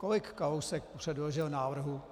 Kolik Kalousek předložil návrhů?